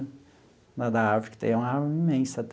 Mas da árvore que tem lá é imensa.